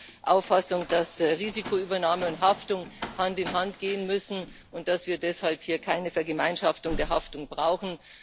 Ich bin der Auffassung, dass Risikoübernahme und Haftung Hand in Hand gehen müssen, und dass wir deshalb hier keine Vergemeinschaftung der Haftung brauchen.